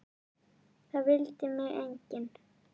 Það vildi mig enginn!